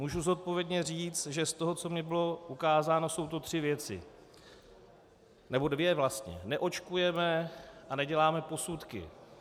Můžu zodpovědně říct, že z toho, co mi bylo ukázáno, jsou to tři věci, nebo dvě vlastně: neočkujeme a neděláme posudky.